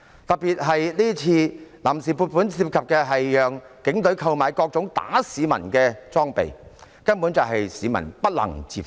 尤其是這項臨時撥款涉及讓警隊購買各種打壓市民的裝備，根本是市民不能接受的。